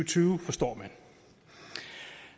tyve forstår jeg